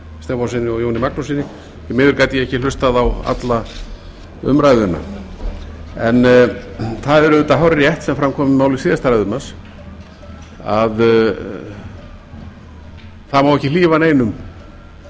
stefánssyni og jóni magnússyni því miður gat ég ekki hlustað á alla umræðuna það er auðvitað hárrétt sem fram kom í máli síðasta ræðumanns að það má ekki hlífa neinum